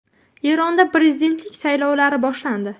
Eronda prezidentlik saylovlari boshlandi.